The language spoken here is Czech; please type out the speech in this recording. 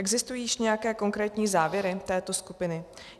Existují již nějaké konkrétní závěry této skupiny?